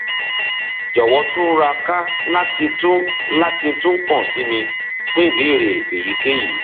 jọwọ túraká láti tún láti tún kàn sí mi fún ìbéèrè èyíkéyìí